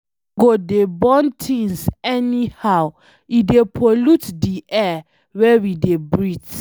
No go dey burn things anyhow, e dey pollute di air wey we dey breet.